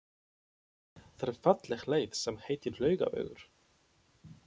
Það er falleg leið sem heitir Laugavegur.